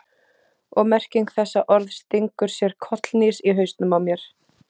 Og merking þessa orðs stingur sér kollhnís í hausnum á mér.